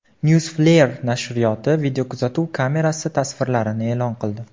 Newsflare nashri videokuzatuv kamerasi tasvirlarini e’lon qildi.